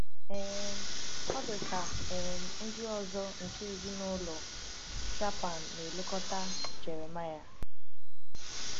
um Ọ̀ dị ka um ndị ọzọ nke ezinụlọ Shaphan na-elekọta Jeremiah?